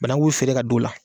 Banangu be feere ka don o la